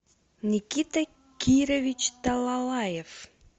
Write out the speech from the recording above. никита кирович талалаев